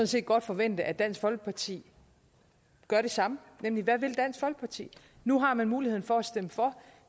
set godt forvente at dansk folkeparti gør det samme nemlig hvad vil dansk folkeparti nu har man muligheden for at stemme for